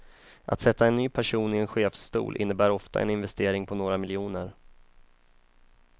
Att sätta en ny person i en chefsstol innebär ofta en investering på några miljoner.